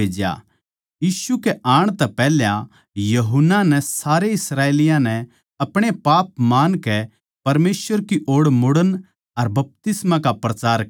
यीशु कै आण तै पैहल्या यूहन्ना नै सारे इस्राएलियाँ नै अपणे पाप मान के परमेसवर की ओड़ मुड़ण का अर बपतिस्मा का प्रचार करया